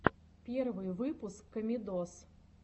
первый выпуск комедоз